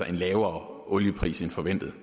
at en lavere oliepris end forventet